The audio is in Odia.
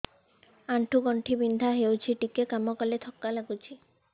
ଆଣ୍ଠୁ ଗଣ୍ଠି ବିନ୍ଧା ହେଉଛି ଟିକେ କାମ କଲେ ଥକ୍କା ଲାଗୁଚି